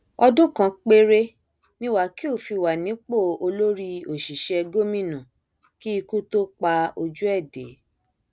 ọdún kan péré ni wákil fi wà nípò olórí òṣìṣẹ gómìnà kí ikú tóó pa ojú ẹ dé